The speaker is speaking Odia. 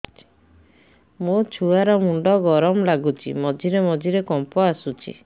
ମୋ ଛୁଆ ର ମୁଣ୍ଡ ଗରମ ଲାଗୁଚି ମଝିରେ ମଝିରେ କମ୍ପ ଆସୁଛି